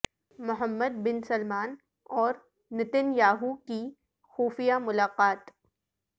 محمد bin Salman اور Netanyahu کی خفیہ ملاقات